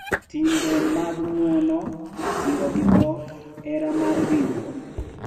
Timbe mag ng’wono, siro gi dhok, hera mar ringruok,